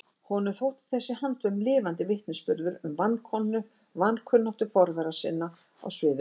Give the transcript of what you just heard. Honum þótti þessi handvömm lifandi vitnisburður um vankunnáttu forvera sinna á sviði öryggismála.